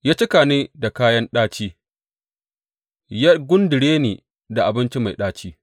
Ya cika ni da kayan ɗaci ya gundure ni da abinci mai ɗaci.